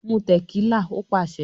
"Mú tẹ̀kílà" Ó pàṣẹ.